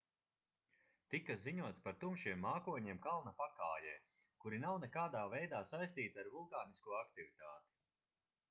tika ziņots par tumšiem mākoņiem kalna pakājē kuri nav nekādā veidā saistīti ar vulkānisko aktivitāti